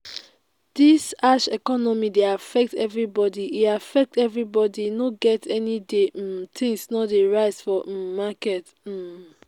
dis harsh economy dey affect everybody e affect everybody e no get anyday um things no dey rise for um market um